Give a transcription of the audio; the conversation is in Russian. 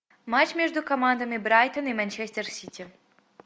матч между командами брайтон и манчестер сити